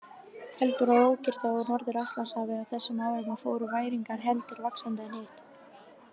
Heldur var ókyrrt á Norður-Atlantshafi á þessum árum og fóru væringar heldur vaxandi en hitt.